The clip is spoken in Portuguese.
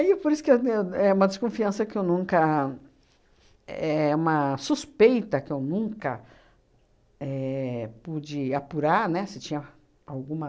por isso que eu eu é uma desconfiança que eu nunca, éh uma suspeita que eu nunca éh pude apurar, né, se tinha alguma